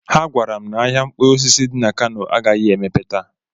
Ha gwara m na ahịa mkpụrụ osisi dị na Kano agaghị emepe taa.